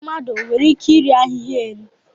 Mmadụ nwere ike iri ahịhịa enyí?